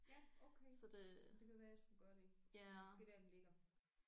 Ja okay jamen det kan være jeg skulle gøre det. Det er måske der den ligger